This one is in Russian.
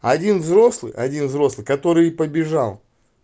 один взрослый один взрослый который побежал